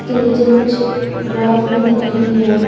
के नीचे कुछ ग्रास भी दिख रही है।